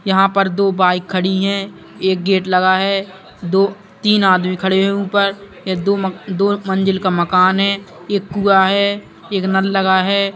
यहाँ पर दो बाइक खड़ी हैं। एक गेट लगा है दो तीन आदमी खड़े हैं ऊपर ये दो म- दो मंजिल का मकान है। एक कुआं है। एक नल लगा है।